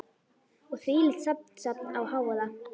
Og þvílíkt samsafn af hávaða.